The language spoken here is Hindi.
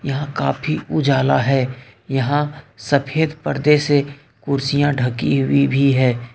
यहाँ काफी उजाला है यहां सफेद पर्दे से कुर्सियां ढकी हुई भी है।